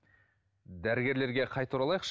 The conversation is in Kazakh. дәрігерлерге қайта оралайықшы